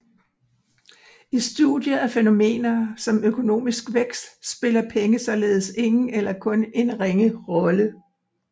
I studiet af fænomener som økonomisk vækst spiller penge således ingen eller kun en ringe rolle